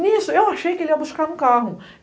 Nisso, eu achei que ele ia buscar no carro.